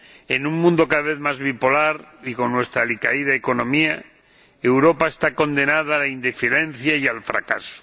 En un mundo cada vez más bipolar, y con nuestra alicaída economía, Europa está condenada a la indiferencia y al fracaso.